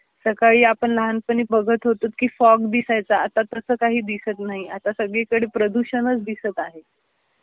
सकाळी आपण लहानपणी बगत होतो की फॉग दिसायचा आता तस काही दिसत नाही आता सगळीकडे प्रदूषणच दिसत आहे.